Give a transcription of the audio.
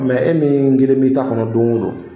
e min kelen b'i ta kɔnɔ don o don